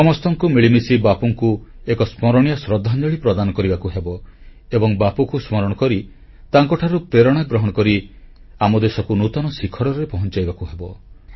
ଆମ ସମସ୍ତଙ୍କୁ ମିଳିମିଶି ବାପୁଙ୍କୁ ଏକ ସ୍ମରଣୀୟ ଶ୍ରଦ୍ଧାଞ୍ଜଳି ପ୍ରଦାନ କରିବାକୁ ହେବ ଏବଂ ବାପୁଙ୍କୁ ସ୍ମରଣ କରି ତାଙ୍କଠାରୁ ପ୍ରେରଣା ଗ୍ରହଣ କରି ଆମ ଦେଶକୁ ନୂତନ ଶିଖରରେ ପହଂଚାଇବାକୁ ହେବ